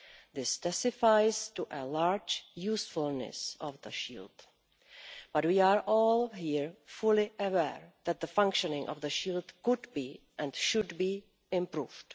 This testifies to a large usefulness of the Shield, but we are all here fully aware that the functioning of the Shield could be, and should be, improved.